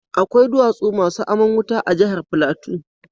Akwai duwatsu masu aman wuta a jahar Plateau.